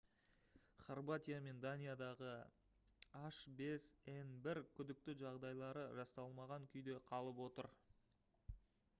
хорватия мен даниядағы h5n1 күдікті жағдайлары расталмаған күйде қалып отыр